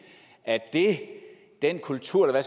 at den kultur